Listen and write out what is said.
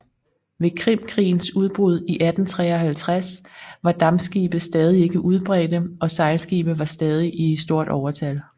Ved Krimkrigens udbrud i 1853 var dampskibe stadig ikke udbredte og sejlskibe var stadig i stort overtal